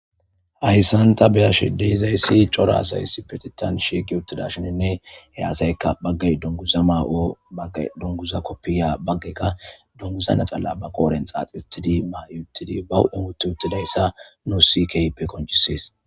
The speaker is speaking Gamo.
Hayissan taa be'ashshe dizayiss cora asayi issippeteththanni shiqqi uttidayisanne he asayikka bagayi duniguza ma'i bagayi duniguza koofiya bagayika duniguza laxana baa qodhdhenni xaxi uttidi ma'i uttidi baa huphphenn woththi uttidayissa nusi kehippe qonccisess .